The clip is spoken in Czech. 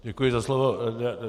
Děkuji za slovo.